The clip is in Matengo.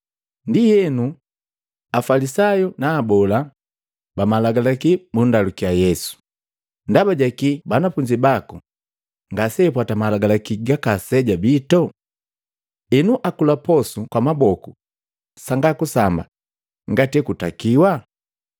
Ndienu, Afalisayu na Abola ba Malagalaki bundalukya Yesu, “Ndaba jaki banafunzi baku ngaseapwata malagalaki gaka aseja bito. Enu akula posu kwa maboku sanga kusamba ngati ekutakiwa?”